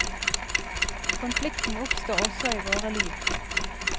Konflikten oppstår også i våre liv.